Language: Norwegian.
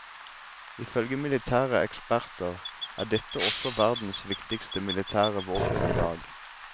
Ifølge militære eksperter er dette også verdens viktigste militære våpen i dag.